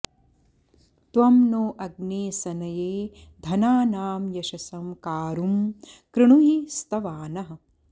त्वं नो॑ अग्ने स॒नये॒ धना॑नां य॒शसं॑ का॒रुं कृ॑णुहि॒ स्तवा॑नः